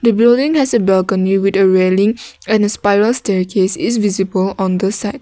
the building has a staircase is visible on the side.